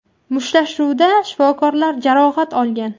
Mushtlashuvda shifokorlar jarohat olgan.